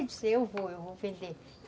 Eu disse, eu vou, eu vou vender.